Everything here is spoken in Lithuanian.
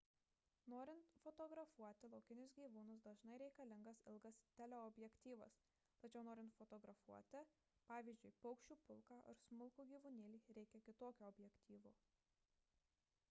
norint fotografuoti laukinius gyvūnus dažnai reikalingas ilgas teleobjektyvas tačiau norint fotografuoti pavyzdžiui paukščių pulką ar smulkų gyvūnėlį reikia kitokio objektyvo